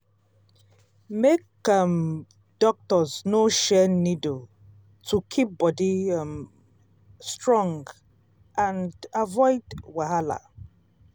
make um doctors no share needle to keep body um strong and avoid wahala.